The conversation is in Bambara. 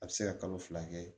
A bɛ se ka kalo fila kɛ